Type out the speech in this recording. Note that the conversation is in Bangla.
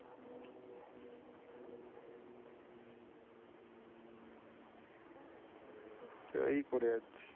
তো এই করে যাচ্ছি।